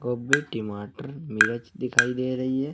गोबी टीमाटर मिर्च दिखाई दे रही है।